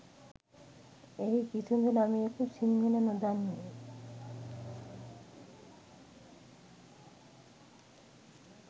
එහි කිසිදු ළමයෙකු සිංහල නොදනී